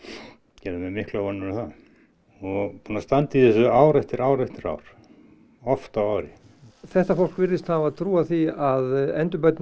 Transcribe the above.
gerði mér miklar vonir um það og búinn að standa í þessu ár eftir ár eftir ár oft á ári þetta fólk virðist hafa trúað því að endurbæturnar